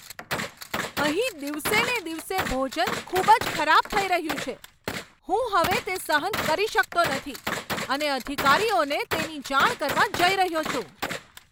અહીં દિવસેને દિવસે ભોજન ખૂબ જ ખરાબ થઈ રહ્યું છે. હું હવે તે સહન કરી શકતો નથી અને અધિકારીઓને તેની જાણ કરવા જઈ રહ્યો છું.